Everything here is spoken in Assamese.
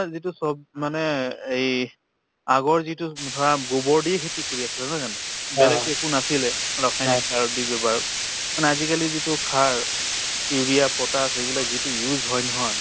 যিটো চব মানে এই আগৰ যিটো ধৰা গোবৰ দি খেতি কৰি আছিলে নহয় জানো বেলেগতো একো নাছিলে ৰসায়নিক সাৰৰ যি ব্যৱহাৰ মানে আজিকালিৰ যিটো সাৰ urea, potash এইবিলাক যিটো use হয় নহয়